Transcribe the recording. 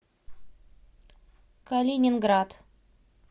калининград